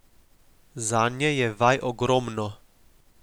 Zanje je vaj ogromno.